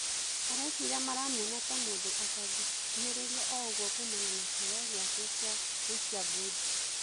Areciria maramuona ta mũndũ atangĩ kuhĩ rĩ rio o ũgũo kumana na kĩ heo gĩ ake gĩ a gũikia ngundi.